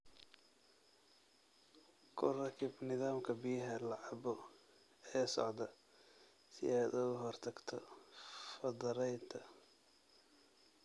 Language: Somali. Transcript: Ku rakib nidaamka biyaha la cabbo ee socda si aad uga hortagto faddaraynta.